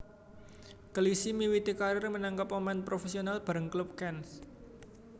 Clichy miwiti karir minangka pemain profesional bareng klub Cannes